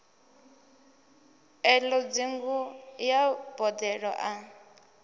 elo ṱhungu ya boḓelo a